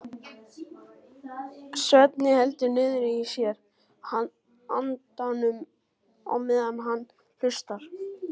Svenni heldur niðri í sér andanum á meðan hann hlustar.